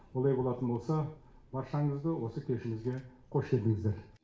олай болатын болса баршаңызды осы кешімізге қош келдіңіздер